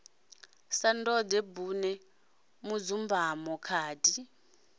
sa ndode bune mudzumbamo khadi